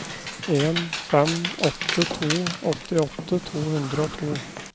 en fem åtte to åttiåtte to hundre og to